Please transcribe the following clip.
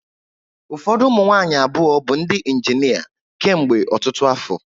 Ụfọdụ ụmụ nwaanyị abụọ ndị injịnia kemgbe ọtụtụ afọ.